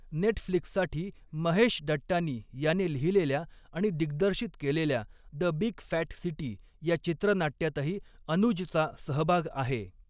नेटफ्लिक्ससाठी महेश डट्टानी याने लिहिलेल्या आणि दिग्दर्शित केलेल्या 'द बिग फॅट सिटी' या चित्र नाट्यातही अनुजचा सहबाग आहे.